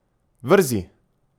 Vrzi!